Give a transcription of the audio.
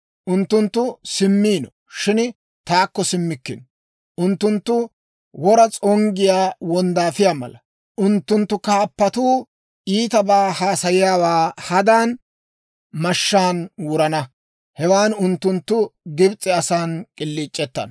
Unttunttu simmiino, shin taakko simmikkino. Unttunttu wora s'onggiyaa wonddaafiyaa mala. Unttunttu kaappatuu iitabaa haasayiyaawaa hadan, mashshaan wurana; hewan unttunttu Gibs'e asan k'iliic'ettana.